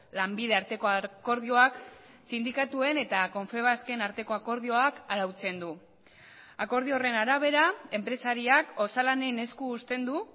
lanbide arteko akordioak sindikatuen eta confebasken arteko akordioak arautzen du akordio horren arabera enpresariak osalanen esku usten du